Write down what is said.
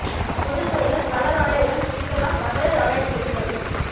பொது சிறையில் கலர் ஆடையுடன் சசிகலா மகளிர் ஆணைய தலைவி கண்டுபிடிப்பு